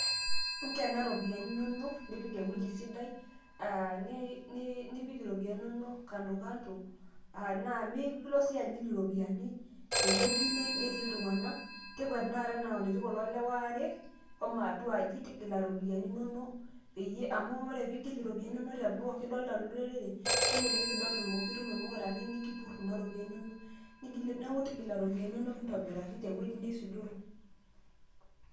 Inkena ropiyiani inonok nipk ewueji sidai, nipik iropiyinai inonok kando kando naa nimilo sii agil iropiyinai tewueji netii iltung'anak, tipika tenakata anaa ene netii kule lewa aare, shomo atuaji tigila ropiyiani inonok amu ore peyie igil iropiyiani inonok teboo kidolita olorere kelelek kitum ilmukurani nikipurr kuna ropiyiani inonok. Neeku tigila ropiyiani inonok intobiraki tewueji neisudoro.